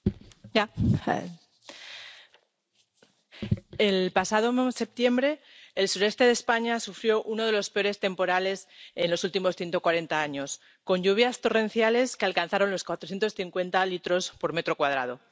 Señor presidente, el pasado mes septiembre, el sureste de España sufrió uno de los peores temporales de los últimos 140 años, con lluvias torrenciales que alcanzaron los 450 litros por metro cuadrado.